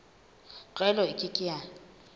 tlwaelo e ke ke ya